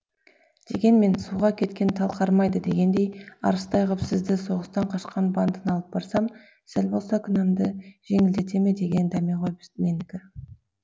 дегенмен суға кеткен тал қармайды дегендей арыстай ғып сізді соғыстан қашқан бандыны алып барсам сәл болса да кінәмді жеңілдете ме деген дәме ғой менікі